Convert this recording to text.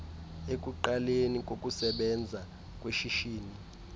ekuqaleni kokusebenza kweshishini